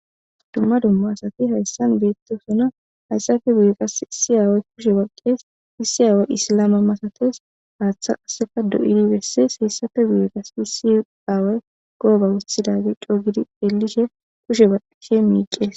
Dumma dumma asati haysan betosona, haysappe guye iss aaway kushe baqesi, issi aaway Islama malatesi , haatha qaseka doyi desesi, hesappe guye qasi issi awayi gooba oothidageyi co gidi xeelishe kushe baqishe miicesi.